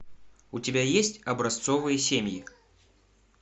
у тебя есть образцовые семьи